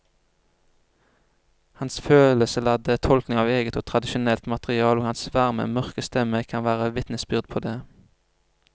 Hans følelsesladde tolkninger av eget og tradisjonelt materiale og hans varme mørke stemme kan være vitnesbyrd på det.